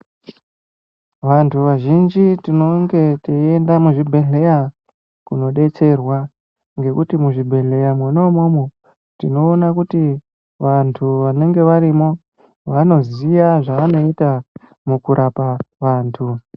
Vantu vazhinji tinenge tiyiyenda muzvibhedleya kuno detserwa, ngekuti muzvibhedleya munomomo tinowona kuti vantu vanenge varimo, vanoziya zvavanoita mukurapa vantu.